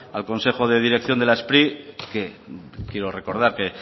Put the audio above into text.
al consejo de dirección de la spri que quiero recordar que